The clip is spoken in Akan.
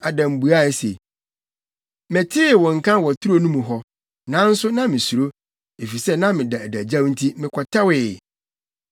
Adam buae se, “Metee wo nka wɔ turo no mu hɔ, nanso na misuro, efisɛ na meda adagyaw nti mekɔtɛwee.”